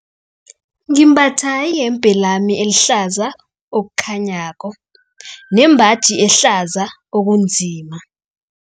Ngimbatha iyembe lami elihlaza okukhanyako nembaji ehlaza okunzima.